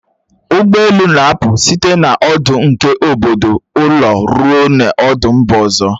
Ụgbọelu na-apụ site n'ọdụ nke obodo ụlọ ruo n'ọdụ mba ọzọ